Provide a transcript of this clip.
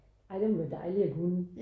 Ej det må være dejlig at kunne